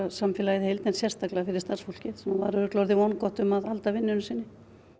samfélagið í heild en sérstaklega fyrir starfsfólkið sem var örugglega orðið vongott um að halda vinnunni sinni